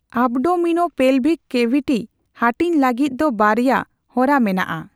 Abdominopelvic cavity ᱦᱟᱺᱴᱤᱧ ᱞᱟᱹᱜᱤᱫ ᱫᱚ ᱵᱟᱨᱭᱟ ᱦᱚᱨᱟ ᱢᱮᱱᱟᱜᱼᱟ ᱾